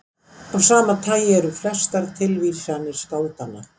Af sama tagi eru flestar tilvísanir skáldanna.